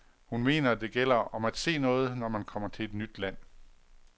Hun mener det gælder om at se noget, når man kommer til et nyt land.